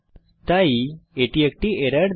তাই এটি একটি এরর দেয়